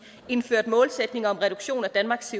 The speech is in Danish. indførte målsætning om reduktion af danmarks